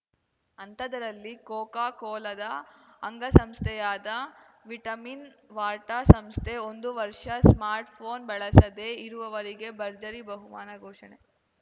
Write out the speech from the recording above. ಅಂಥದ್ದರಲ್ಲಿ Coca ಕೋಲಾದ ಅಂಗಸಂಸ್ಥೆಯಾದ Vitamin Water ಸಂಸ್ಥೆ ಒಂದು ವರ್ಷ ಸ್ಮಾರ್ಟ್‌ಫೋನ್‌ ಬಳಸದೇ ಇರುವವರಿಗೆ ಭರ್ಜರಿ ಬಹುಮಾನ ಘೋಷಣೆ